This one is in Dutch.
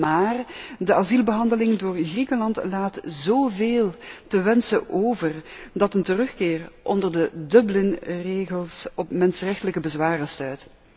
Maar de asielbehandeling door Griekenland laat zoveel te wensen over dat een terugkeer onder de Dublin regels op mensrechtelijke bezwaren stuit.